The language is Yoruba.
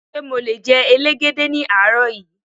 Ṣé mo le jẹ elégède ní àárọ̀ yí?